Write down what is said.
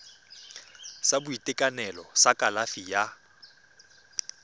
sa boitekanelo sa kalafi ya